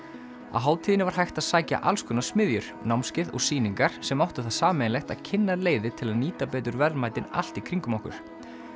á hátíðinni var hægt að sækja alls konar smiðjur námskeið og sýningar sem áttu það sameiginlegt að kynna leiðir til að nýta betur verðmætin allt í kringum okkur